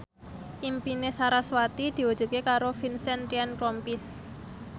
impine sarasvati diwujudke karo Vincent Ryan Rompies